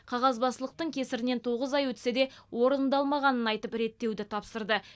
қағазбастылықтың кесірінен тоғыз ай өтсе де орындалмағанын айтып реттеуді тапсырды